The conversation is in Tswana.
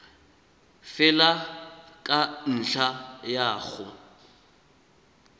fela ka ntlha ya go